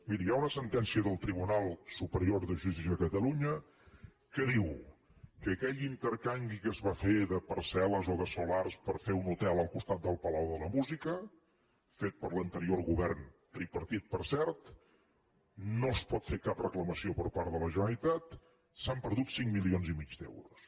miri hi ha una sentència del tribunal superior de justícia de catalunya que diu que en aquell intercanvi que es va fer de parcel·les o de solars per fer un hotel al costat del palau de la música fet per l’anterior govern tripartit per cert no es pot fer cap reclamació per part de la generalitat s’han perdut cinc milions i mig d’euros